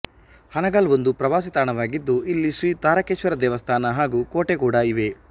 ಹಾನಗಲ್ ಒಂದು ಪ್ರವಾಸಿತಾಣವಾಗಿದ್ದು ಇಲ್ಲಿ ಶ್ರೀ ತಾರಕೇಶ್ವರ ದೇವಸ್ಥಾನ ಹಾಗೂ ಕೋಟೆ ಕೂಡಾ ಇವೆ